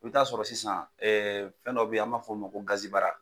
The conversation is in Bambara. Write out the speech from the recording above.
I bɛ taa sɔrɔ sisan fɛn dɔ bɛ ye an b'a fɔ o ma ko gazibara.